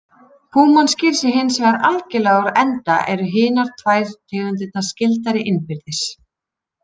Púman sker sig hins vegar algerlega úr enda eru hinar tvær tegundirnar skyldari innbyrðis.